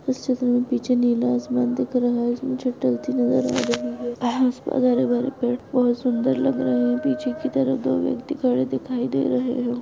इस चित्र में पीछे नीला आसमान दिख रहा है नज़र आ रही है हरे भरे पेड़ पौधे सुंदर लग रहे हैं पीछे की तरफ दो व्यक्ति खड़े दिखाई दे रहे हैं।